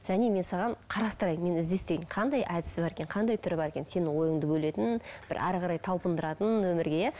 және мен саған қарастырайын мен іздестірейін қандай әдісі бар екен қандай түрі бар екен сенің ойыңды бөлетін бір әрі қарай талпындыратын мына өмірге иә